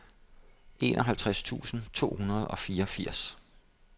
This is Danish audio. enoghalvtreds tusind to hundrede og fireogfirs